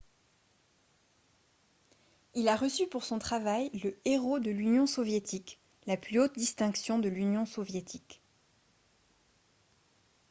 il a reçu pour son travail le « héros de l’union soviétique » la plus haute distinction de l’union soviétique